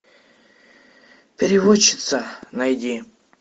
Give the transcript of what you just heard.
переводчица найди